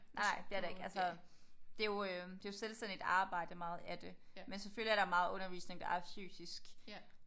Nej nej det er der ikke. Altså det er jo det er selvstændigt arbejde meget af det. Men selvfølgelig er der meget undervisning der er fysisk